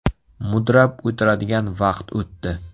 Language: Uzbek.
Mudrab o‘tiradigan vaqt o‘tdi.